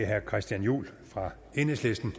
herre christian juhl fra enhedslisten